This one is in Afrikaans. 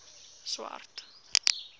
swart